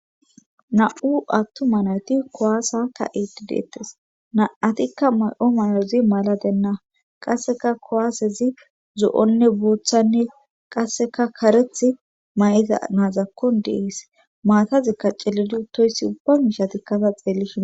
Na'u attu ma nawyti kowaasa ka iti deettes na7atikka may7o malezi maladenna qasseka kowaasezi zo7onne booththanne qasseka kareth may7iza naazakkon dees maatazikka celidu toyssi ubba mishatikkasa xeellihina.